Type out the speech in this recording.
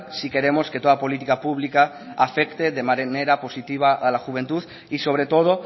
si queremos que toda política pública afecte de manera positiva a la juventud y sobre todo